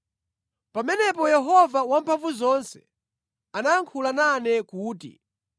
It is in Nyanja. Pamenepo Yehova Wamphamvuzonse anayankhula nane kuti,